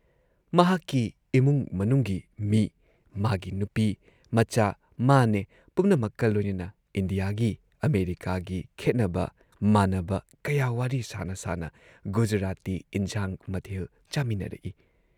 ꯃꯍꯥꯥꯥꯥꯛꯀꯤ ꯏꯃꯨꯡ ꯃꯅꯨꯡꯒꯤ ꯃꯤ‑ꯃꯥꯒꯤ ꯅꯨꯄꯤ, ꯃꯆꯥ ꯃꯥꯅꯦ ꯄꯨꯝꯅꯃꯛꯀ ꯂꯣꯏꯅꯅ ꯏꯟꯗꯤꯌꯥꯒꯤ, ꯑꯃꯦꯔꯤꯀꯥꯒꯤ ꯈꯦꯠꯅꯕ, ꯃꯥꯟꯅꯕ, ꯀꯌꯥ ꯋꯥꯔꯤ ꯁꯥꯅ ꯁꯥꯅ ꯒꯨꯖꯔꯥꯇꯤ ꯏꯟꯖꯥꯡ ꯃꯊꯦꯜ ꯆꯥꯃꯤꯟꯅꯔꯛꯏ꯫